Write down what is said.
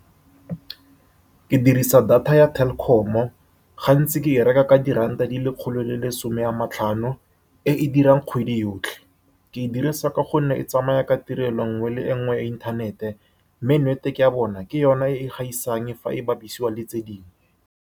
Ke dirisa data ya Telkom-o. Gantsi ke e reka ka di-ranta di le lekgolo le lesome a matlhano, e e dirang kgwedi yotlhe. Ke e dirisa ka gonne e tsamaya ka tirelo e nngwe le e nngwe ya inthanete, mme network-e ya bona, ke yone e e gaisang fa e bapisiwa le tse dingwe.